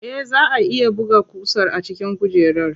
Eh, zaa a iya buga ƙusar a cikin kujerar.